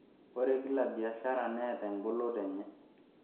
Ore kila biashara neeta engoloto enye.